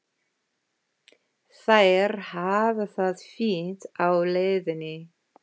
Þær hafa það fínt á leiðinni.